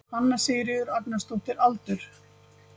Hanna Sigríður Agnarsdóttir Aldur?